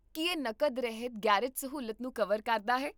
ਕੀ ਇਹ ਨਕਦ ਰਹਿਤ ਗ਼ੈਰੇਜ ਸਹੂਲਤ ਨੂੰ ਕਵਰ ਕਰਦਾ ਹੈ?